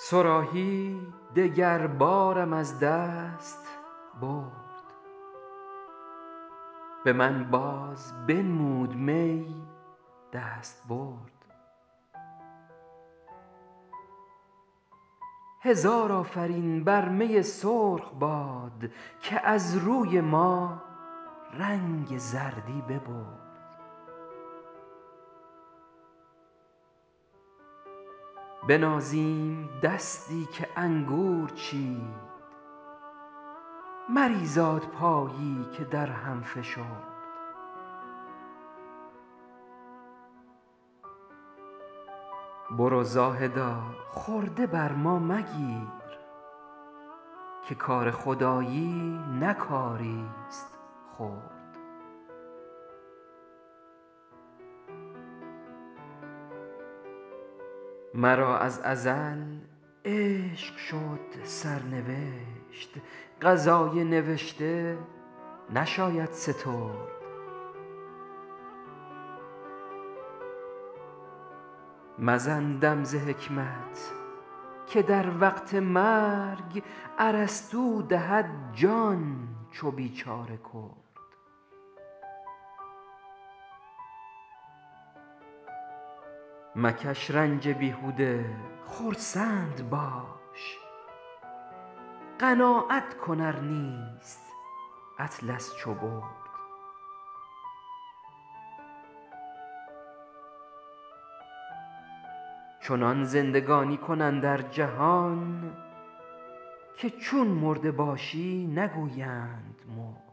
صراحی دگر بارم از دست برد به من باز بنمود می دستبرد هزار آفرین بر می سرخ باد که از روی ما رنگ زردی ببرد بنازیم دستی که انگور چید مریزاد پایی که در هم فشرد برو زاهدا خورده بر ما مگیر که کار خدایی نه کاریست خرد مرا از ازل عشق شد سرنوشت قضای نوشته نشاید سترد مزن دم ز حکمت که در وقت مرگ ارسطو دهد جان چو بیچاره کرد مکش رنج بیهوده خرسند باش قناعت کن ار نیست اطلس چو برد چنان زندگانی کن اندر جهان که چون مرده باشی نگویند مرد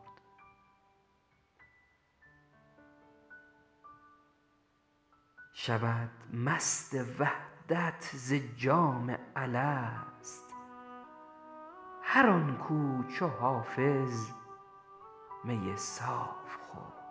شود مست وحدت زجام الست هر آن کـ او چو حافظ می صاف خورد